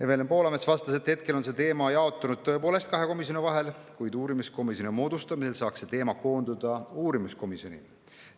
Evelin Poolamets vastas, et hetkel on see teema jaotunud tõepoolest kahe komisjoni vahel, kuid uurimiskomisjoni moodustamise korral saaks see teema koonduda uurimiskomisjoni.